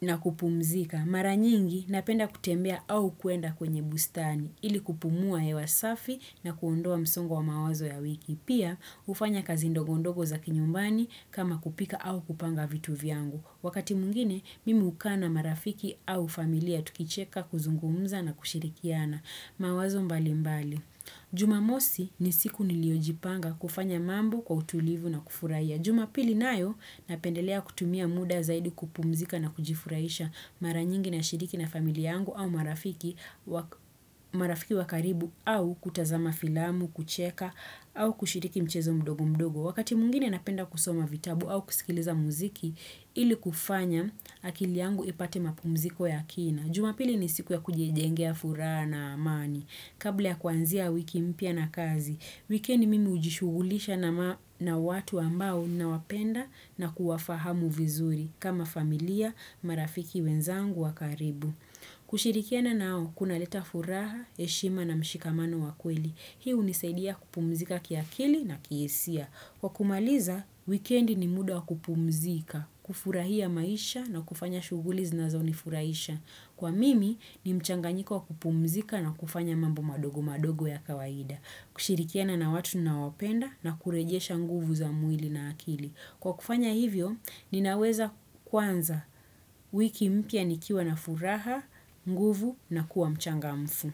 na kupumzika. Mara nyingi napenda kutembea au kuenda kwenye bustani ili kupumua hewa safi na kuondoa msongo wa mawazo ya wiki. Pia ufanya kazi ndogondogo za kinyumbani kama kupika au kupanga vitu viangu. Wakati muingine mimi uka na marafiki au familia tukicheka kuzungumza na kushirikiana. Mawazo mbali mbali. Juma mosi ni siku niliojipanga kufanya mambo kwa utulivu na kufuraiya. Juma pili nayo napendelea kutumia muda zaidi kupumzika na kujifuraisha maranyingi na shiriki na familia yangu au marafiki wakaribu au kutazama filamu, kucheka au kushiriki mchezo mdogo mdogo. Wakati muingine napenda kusoma vitabu au kusikiliza muziki, ili kufanya akili yangu ipate mapumziko ya kina. Jumapili ni siku ya kujijengea furaha na amani. Kabla ya kwanzia wiki mpia na kazi, wikendi mimi ujishugulisha na watu ambao nawapenda na kuwafahamu vizuri kama familia marafiki wenzangu wakaribu. Kushirikiana nao kuna leta furaha, eshima na mshikamano wa kweli Hii unisaidia kupumzika kiakili na kiesia Kwa kumaliza, weekend ni muda kupumzika, kufurahia maisha na kufanya shuguli zina zonifuraisha Kwa mimi, ni mchanganyiko kupumzika na kufanya mambo madogo madogo ya kawaida kushirikiana na watu nawapenda na kurejesha nguvu za mwili na akili Kwa kufanya hivyo, ninaweza kwanza wiki mpia nikiwa na furaha, mguvu na kuwa mchanga mfu.